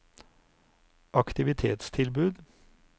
aktivitetstilbud